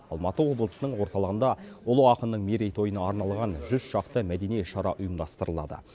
алматы облысының орталығында ұлы ақынның мерейтойына арналған жүз шақты мәдени шара ұйымдастырылады